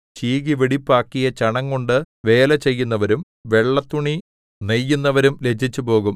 ചീകി വെടിപ്പാക്കിയ ചണംകൊണ്ടു വേല ചെയ്യുന്നവരും വെള്ളത്തുണി നെയ്യുന്നവരും ലജ്ജിച്ചുപോകും